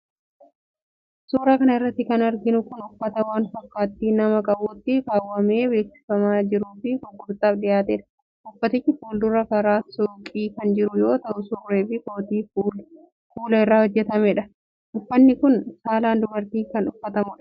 Suura kana irratti kan arginu kun, uffata waan fakkaatti namaa qabutti keewwamee beeksifamaa jiruu fi gurgurtaaf dhiyaateedha. Uffaticha fuuldura karra suuqii kan jiru yoo ta'u, surree fi kootii kuula irraa hojjatameedha. Uffanni kun, saala dubaraatin kan uffatamuudha.